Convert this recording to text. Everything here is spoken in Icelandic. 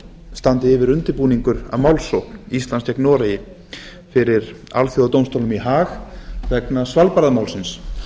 standi yfir undirbúningur að málsókn íslands gegn noregi fyrir alþjóðadómstólnum í ha g vegna svalbarðamálsins